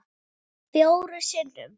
Fjórum sinnum